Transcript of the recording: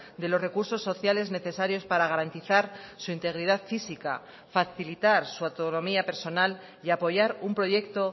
de los recursos sociales necesarios para garantizar su integridad física facilitar su autonomía personal y apoyar un proyecto